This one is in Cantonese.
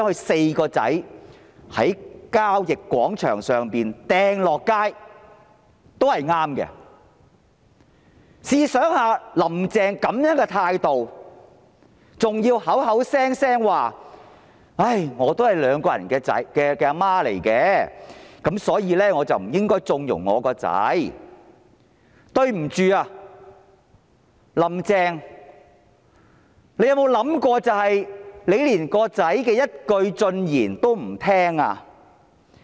試想一想，"林鄭"這樣的態度，口口聲聲說："我是兩名兒子的母親，所以我不應該縱容我的孩子"，但對不起，"林鄭"，你有沒有想過，你連兒子的一句進言也不聽？